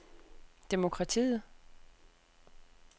demokratiet